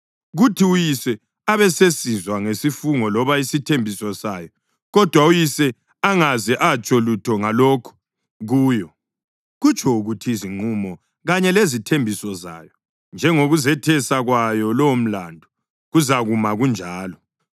kuthi uyise abesesizwa ngesifungo loba isithembiso sayo kodwa uyise angaze atsho lutho ngalokho kuyo, kutsho ukuthi izinqumo kanye lezithembiso zayo njengokuzethesa kwayo lowomlandu kuzakuma kunjalo.